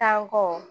Tan kɔ